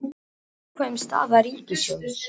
Viðkvæm staða ríkissjóðs